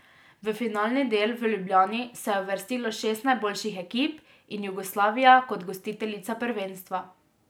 V finalni del v Ljubljani se je uvrstilo šest najboljših ekip in Jugoslavija kot gostiteljica prvenstva.